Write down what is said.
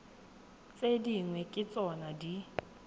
tse dingwe ke tsona di